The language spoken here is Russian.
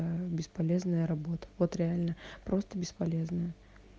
ая бесполезная работа вот реально просто бесполезная